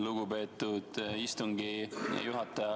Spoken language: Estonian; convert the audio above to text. Lugupeetud istungi juhataja!